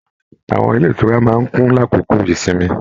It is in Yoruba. Àwọn ilé ìtura máa n kún l'akoko ìsinmi